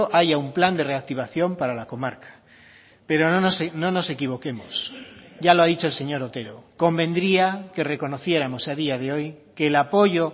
haya un plan de reactivación para la comarca pero no nos equivoquemos ya lo ha dicho el señor otero convendría que reconociéramos a día de hoy que el apoyo